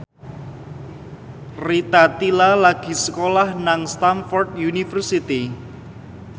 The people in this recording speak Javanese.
Rita Tila lagi sekolah nang Stamford University